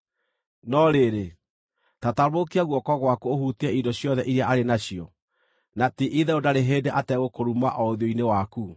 No rĩrĩ, ta tambũrũkia guoko gwaku ũhutie indo ciothe iria arĩ nacio, na ti-itherũ ndarĩ hĩndĩ ategũkũruma o ũthiũ-inĩ waku.”